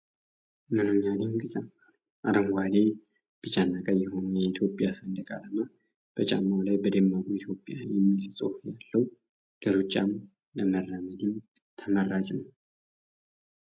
ምንኛ ድንቅ ጫማ ነው! አረንጓዴ፣ ቢጫና ቀይ የሆነው የኢትዮጵያ ሰንደቅ ዓላማ በጫማው ላይ! በደማቁ "ኢትዮጵያ " የሚል ጽሑፍ ያለው፣ ለሩጫም ለመራመድም ተመራጭ ነው!